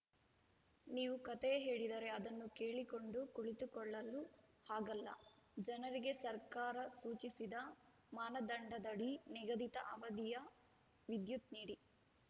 ನೀವು ಕಥೆ ಹೇಳಿದರೆ ಅದನ್ನು ಕೇಳಿಕೊಂಡು ಕುಳಿತುಕೊಳ್ಳಲು ಆಗಲ್ಲ ಜನರಿಗೆ ಸರ್ಕಾರ ಸೂಚಿಸಿದ ಮಾನದಂಡದಡಿ ನಿಗದಿತ ಅವಧಿಯ ವಿದ್ಯುತ್‌ ನೀಡಿ